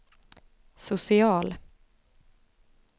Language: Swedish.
social